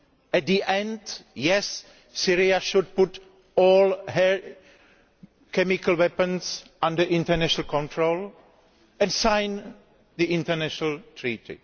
At the end, yes, Syria should place all its chemical weapons under international control and sign the international treaty.